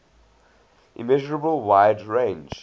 immeasurable wide range